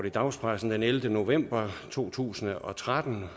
i dagspressen den ellevte november to tusind og tretten